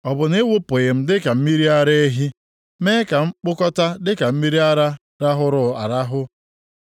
Ọ bụ na ị wụpụghị m dịka mmiri ara ehi mee ka m kpụkọta dịka mmiri ara rahụrụ arahụ?